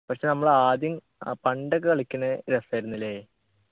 പക്ഷെ നമ്മളാദ്യം ആ പണ്ടൊക്കെ കളിക്കുന്നെ രസായിരുന്നു ല്ലേ